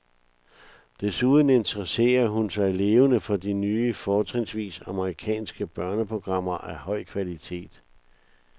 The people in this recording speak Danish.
Desuden interesserer hun sig levende for de nye, fortrinsvis amerikanske, børneprogrammer af høj kvalitet.